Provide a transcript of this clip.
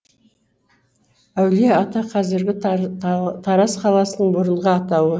әулие ата қазіргі тараз қаласының бұрынғы атауы